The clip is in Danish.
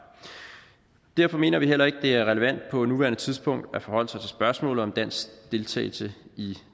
derfor mener vi heller ikke det er relevant på nuværende tidspunkt at forholde sig til spørgsmålet om dansk deltagelse i